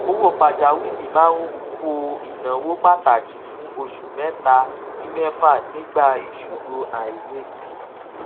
owó pàjáwìrì máa ń bo ináwó pàtàkì fún oṣù mẹta sí mẹfà nígbà ìṣòro àìrètí